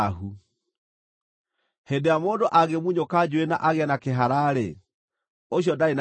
“Hĩndĩ ĩrĩa mũndũ angĩmunyũka njuĩrĩ na agĩe na kĩhara-rĩ, ũcio ndarĩ na thaahu.